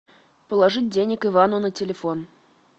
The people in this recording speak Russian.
положить денег ивану на телефон